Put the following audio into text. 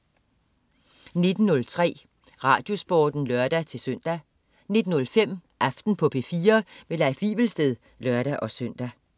19.03 RadioSporten (lør-søn) 19.05 Aften på P4. Leif Wivelsted (lør-søn)